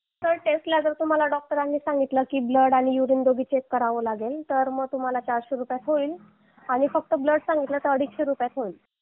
sir जर डॉक्टरांनी तुम्हाला सांगितलं की ब्लड आणि दोन्ही पण चेक करावे लागेल तर चारशे रुपये लागतील आणि फक्त ब्लड सांगितलं तर अडीचशे रुपयात होईल